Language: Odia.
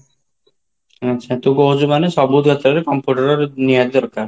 ଆଛା ତୁ କହୁଚୁ ମାନେ ସବୁଥିରେ computer ନିହାତି ଦରକାର?